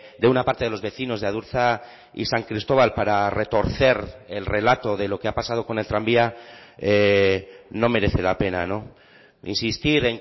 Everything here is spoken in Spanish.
de una parte de los vecinos de adurza y san cristóbal para retorcer el relato de lo que ha pasado con el tranvía no merece la pena insistir